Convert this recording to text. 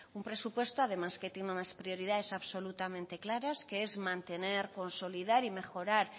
un presupuesto además que tiene unas prioridades absolutamente claras que es mantener consolidar y mejorar